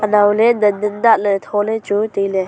anow ley dan dan dah ley tholey chu tailey.